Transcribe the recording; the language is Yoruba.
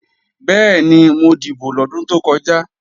Bẹ́ẹ̀ni, mo dìbò lọ́dún tó kọjá